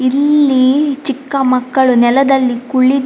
ಇಲ್ಲಿ ಚಿಕ್ಕ ಮಕ್ಕಳು ನೆಲದಲ್ಲಿ ಕುಳಿ --